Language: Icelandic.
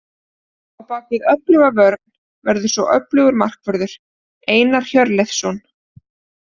Á bakvið öfluga vörn verður svo öflugur markvörður, Einar Hjörleifsson.